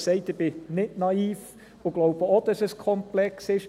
Ich habe gesagt, ich bin nicht naiv und glaube auch, dass es komplex ist.